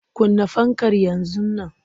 Kunna fankar yanzu nan!